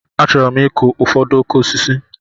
Achọrọ m ịkụ ụfọdụ okooko osisi.